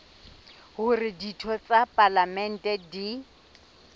hore ditho tsa palamente di